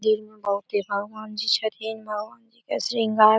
भगवान जी छथीन भगवान जी के श्रृंगार --